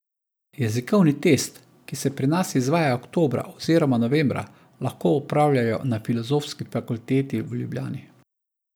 Jezikovni test, ki se pri nas izvaja oktobra oziroma novembra, lahko opravljajo na Filozofski fakulteti v Ljubljani.